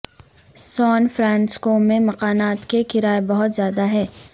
سان فرانسسکو میں مکانات کے کرائے بہت زیادہ ہیں